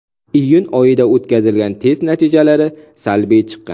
Iyun oyida o‘tkazilgan test natijalari salbiy chiqqan.